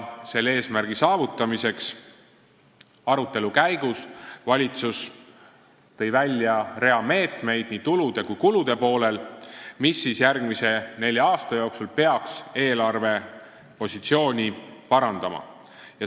Selle eesmärgi saavutamiseks tõi valitsus arutelu käigus välja rea meetmeid nii tulude kui ka kulude poolel, mis järgmise nelja aasta jooksul peaks eelarvepositsiooni parandama.